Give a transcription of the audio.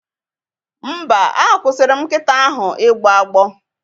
Mba, akwụsịrị m nkita ahụ ịgbọ agbọ